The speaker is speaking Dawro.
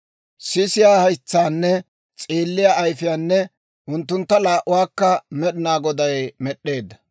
Sisiyaa haytsaanne s'eelliyaa ayifiyaanne, unttuntta laa"uwaakka Med'inaa Goday med'd'eedda.